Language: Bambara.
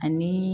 Ani